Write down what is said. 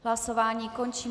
Hlasování končím.